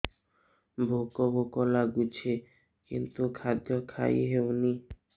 ଭୋକ ଭୋକ ଲାଗୁଛି କିନ୍ତୁ ଖାଦ୍ୟ ଖାଇ ହେଉନି